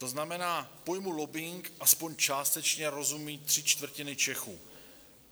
To znamená, pojmu lobbing aspoň částečně rozumí tři čtvrtiny Čechů.